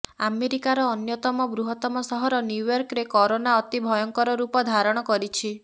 ଆମେରିକାର ଅନ୍ୟତମ ବୃହତ୍ତମ ସହର ନ୍ୟୁୟର୍କରେ କରୋନା ଅତି ଭୟଙ୍କର ରୂପ ଧାରଣ କରିଛି